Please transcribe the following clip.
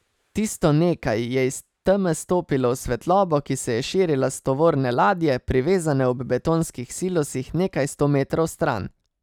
Tisto nekaj je iz teme stopilo v svetlobo, ki se je širila s tovorne ladje, privezane ob betonskih silosih nekaj sto metrov stran.